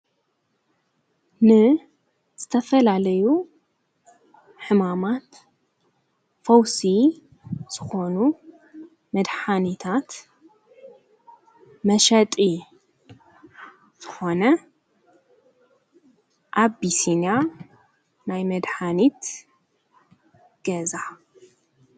ን ዘተፈላለዩ ሕማማት ፈውስ ስኾኑ መድኃኒታት መሸጢ ዘኾነ ኣቢስንያ ናይ መድኃኒት ገዛ።